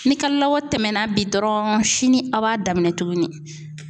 Ni kalo labɔ tɛmɛna bi dɔrɔn sini a' b'a daminɛ tuguni.